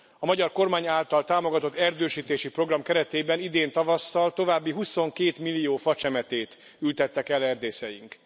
A magyar kormány által támogatott erdősítési program keretében idén tavasszal további huszonkétmillió facsemetét ültettek el erdészeink.